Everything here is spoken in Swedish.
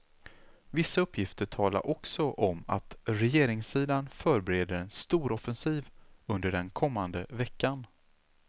Vissa uppgifter talade också om att regeringssidan förbereder en storoffensiv under den kommande veckan.